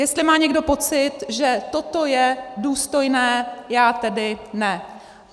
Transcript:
Jestli má někdo pocit, že toto je důstojné, já tedy ne.